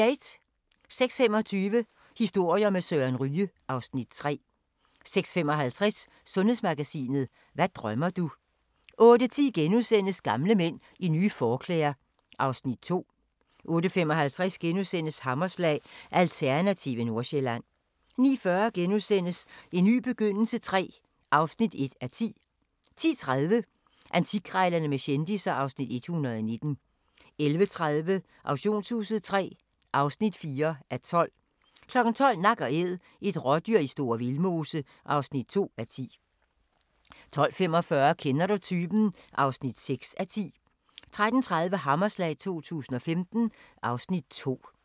06:25: Historier med Søren Ryge (Afs. 3) 06:55: Sundhedsmagasinet: Hvad drømmer du? 08:10: Gamle mænd i nye forklæder (Afs. 2)* 08:55: Hammerslag – Alternative Nordsjælland * 09:40: En ny begyndelse III (1:10)* 10:30: Antikkrejlerne med kendisser (Afs. 119) 11:30: Auktionshuset III (4:12) 12:00: Nak & Æd – et rådyr i Store Vildmose (2:10) 12:45: Kender du typen? (6:10) 13:30: Hammerslag 2015 (Afs. 2)